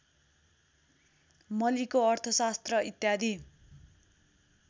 मलीको अर्थशास्त्र इत्यादि